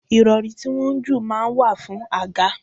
Irori tí wọ́n ń jù máa ń wà fún àga.